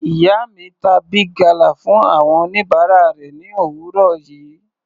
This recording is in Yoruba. Ìyá mi ta Big gala fún àwọn oníbàárà rẹ̀ ni òwúrọ̀ yìí.